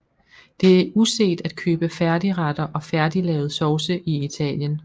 Det er uset at købe færdigretter og færdiglavede sovse i Italien